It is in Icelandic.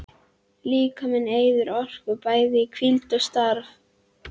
Líkaminn eyðir orku, bæði í hvíld og starfi.